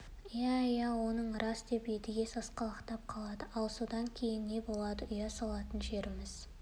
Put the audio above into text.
иә иә оның рас деп едіге сасқалақтап қалады ал содан кейін не болады ұя салатын жеріміз